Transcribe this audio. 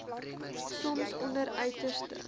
soms onder uiterste